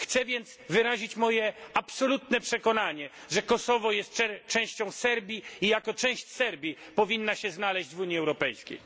Chcę więc wyrazić moje absolutne przekonanie, że Kosowo jest częścią Serbii i jako część Serbii powinno się znaleźć w Unii Europejskiej.